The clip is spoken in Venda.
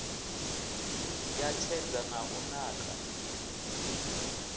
ya tshedza na u naka